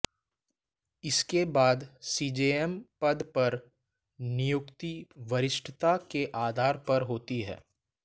इसके बाद सीजेएम पद पर नियुक्ति वरिष्ठता के आधार पर होती है